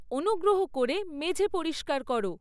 অনুগ্রহ করে মেঝে পরিষ্কার করো